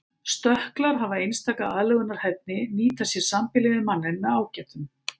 Stökklar hafa einstaka aðlögunarhæfni nýta sér sambýli við manninn með ágætum.